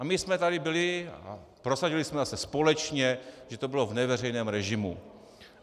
A my jsme tady byli - a prosadili jsme zase společně, že to bylo v neveřejném režimu.